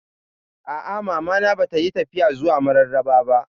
A'a, Mama na ba ta yi tafiya zuwa Mararaba ba